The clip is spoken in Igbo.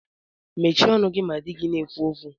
Mechie ọnụ gị ma dị gị na-ekwu okwu